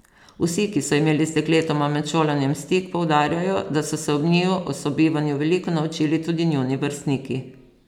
Vsi, ki so imeli z dekletoma med šolanjem stik, poudarjajo, da so se ob njiju o sobivanju veliko naučili tudi njuni vrstniki.